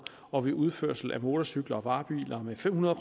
og ved udførsel af motorcykler og varebiler med fem hundrede